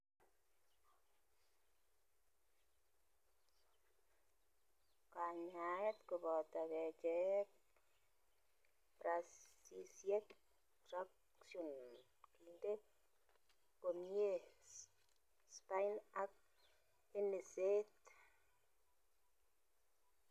Kanyaeet koboto kercheek, bracisiek traction kinde komyee spine ak enyseet